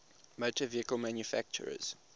motor vehicle manufacturers